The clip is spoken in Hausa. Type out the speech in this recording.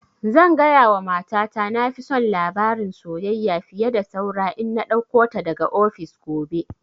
Zan gaya wa mata ta na fi son labarin soyayya fiye da saura in na ɗauko ta daga ofis gobe